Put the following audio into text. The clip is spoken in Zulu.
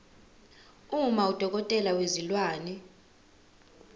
uma udokotela wezilwane